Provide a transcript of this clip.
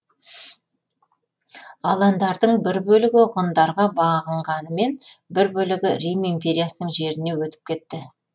аландардың бір бөлігі ғұндарға бағынғанымен бір бөлігі рим империясының жеріне өтіп кетті